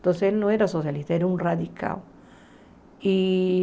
Então, ele não era socialista, era um radical.